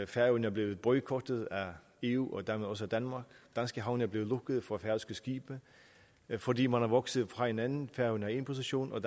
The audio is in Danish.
færøerne er blevet boykottet af eu og dermed også af danmark danske havne er blevet lukket for færøske skibe fordi man er vokset fra hinanden færøerne har en position og